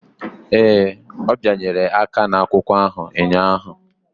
Ee, ọ bịanyere aka n'akwụkwọ ahụ ụnyahụ.